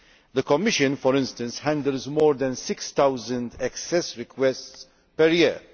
The Commission, for instance, handles more than 6000 access requests per year.